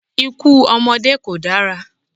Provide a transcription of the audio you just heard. Ikú ọmọdé kò dára.